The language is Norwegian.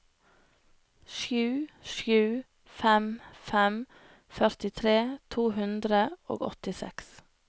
sju sju fem fem førtitre to hundre og åttiseks